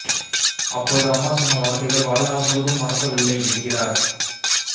அப்போது அம்மா சொன்ன வார்த்தைகள் வாழ் நாள் முழுதும் மறக்க வில்லை என்கிறார்